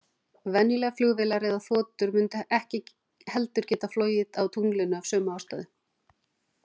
Venjulegar flugvélar eða þotur mundu ekki heldur geta flogið á tunglinu, af sömu ástæðu.